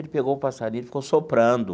Ele pegou o passarinho, ele ficou soprando.